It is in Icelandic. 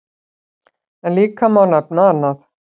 En líka má nefna annað.